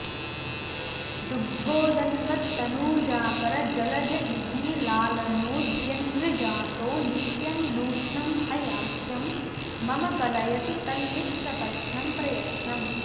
दुग्धोदन्वत्तनूजाकरजलजयुगीलालनोद्यन्मृजातो नित्यं नूत्नं हयास्यं मम कलयतु तन्निस्सपत्नं प्रयत्नम्